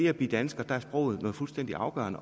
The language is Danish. at blive dansker er sproget noget fuldstændig afgørende